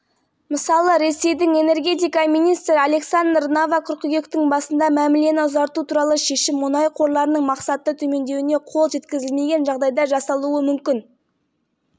әлбетте нарықтағы мұнайдың профициті әлі де бар сондықтан мәмілені ұзарту қажет болады бұдан басқа мұнай өндіруді